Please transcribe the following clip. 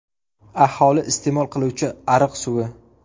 Aholi iste’mol qiluvchi ariq suvi.